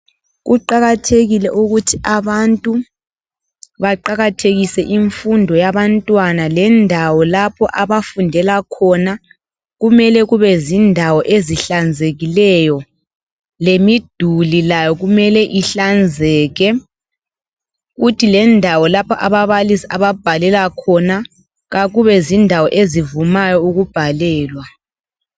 Kuqakathekile ukuthi abantu baqakathekise imfundo yabantwana. Lendawo lapho abafundela khona kumele kube zindawo ezihlanzekileyo lemiduli layo kumele ihlanzeke kuthi lendawo ababalisi ababhalela khona akubezindawo ezivumayo ukubhalelwa.